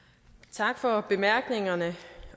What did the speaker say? tak for bemærkningerne